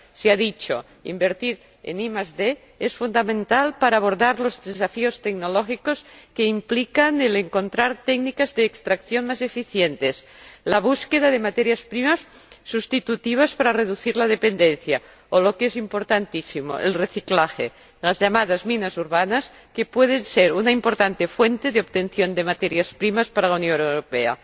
Se ha dicho invertir en ID es fundamental para abordar los desafíos tecnológicos que implica el encontrar técnicas de extracción más eficientes, la búsqueda de materias primas sustitutivas para reducir la dependencia o, lo que es importantísimo, el reciclaje, las llamadas minas urbanas, que pueden ser una importante fuente de obtención de materias primas para la Unión Europea.